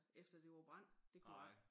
Efter det var brændt det kunne jeg ik